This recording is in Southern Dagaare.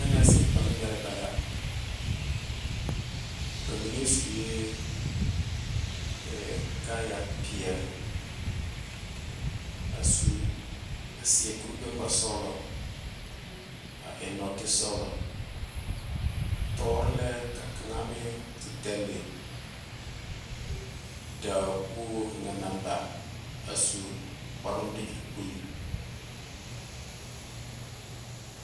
Tɛnɛɛse bɔlŋmɛrebɛ la. Ba mine suee, ee kaayapeɛl, a su a seɛ kur-gbɛ-ŋmasɔglɔ, a eŋ nɔɔtesɔglɔ. Tɔɔre lɛ la ka kaŋa meŋ te dɛlle da wogwog kaŋa naŋ ba a su kparoŋ dakyerepul.